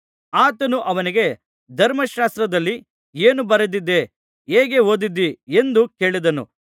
ಆತನು ಅವನಿಗೆ ಧರ್ಮಶಾಸ್ತ್ರದಲ್ಲಿ ಏನು ಬರೆದದೆ ಹೇಗೆ ಓದಿದ್ದೀ ಎಂದು ಕೇಳಿದನು